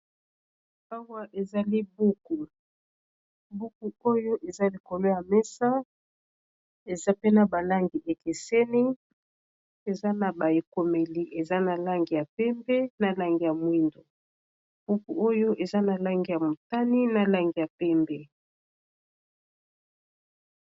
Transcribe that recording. Awa ezali buku buku oyo eza lekolo ya mesa eza pena balangi ekeseni eza na baekomeli eza na lange ya pembe na lange ya mwindo buku oyo eza na lange ya motani na lange ya pembe